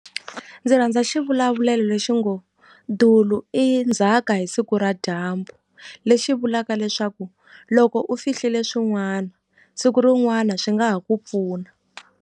Ndzi rhandza xivulavulelo lexi ngo dulu i ndzhaka hi siku ra dyambu lexi vulaka leswaku loko u fihliwile swin'wana siku rin'wana swi nga ha ku pfuna.